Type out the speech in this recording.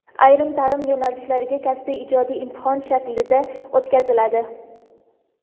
ayrim taʼlim yo‘nalishlariga kasbiy (ijodiy) imtihon shaklida o‘tkaziladi.